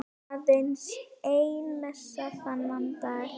Aðeins ein messa þennan dag.